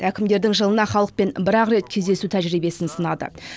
әкімдердің жылына халықпен бір ақ рет кездесу тәжірбиесін сынады